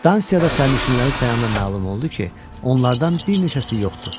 Stansiyada sərnişinləri sayandan məlum oldu ki, onlardan bir neçəsi yoxdur.